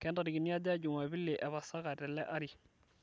kentarikini aja jumapili epasaka tele ari